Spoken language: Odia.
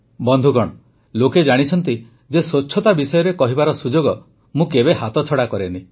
ବନ୍ଧୁଗଣ ଲୋକେ ଜାଣିଛନ୍ତି ଯେ ସ୍ୱଚ୍ଛତା ବିଷୟରେ କହିବାର ସୁଯୋଗ ମୁଁ କେବେ ହାତଛଡ଼ା କରେନି